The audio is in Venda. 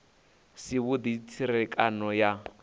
si avhudi na tserekano ya